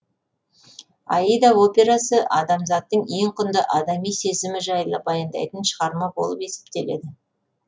аида операсы адамзаттың ең құнды адами сезімі жайлы баяндайтын шығарма болып есептеледі